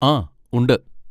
ആ, ഉണ്ട്.